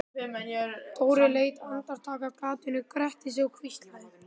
Dóri leit andartak af gatinu, gretti sig og hvíslaði